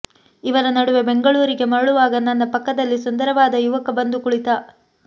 ಇವರ ನಡುವೆ ಬೆಂಗಳೂರಿಗೆ ಮರಳುವಾಗ ನನ್ನ ಪಕ್ಕದಲ್ಲಿ ಸುಂದರವಾದ ಯುವಕ ಬಂದು ಕುಳಿತ